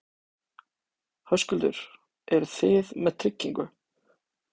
Höskuldur: Eru þið með tryggingu?